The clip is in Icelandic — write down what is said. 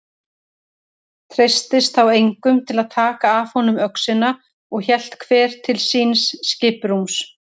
Treystist þá enginn að taka af honum öxina og hélt hver til síns skipsrúms.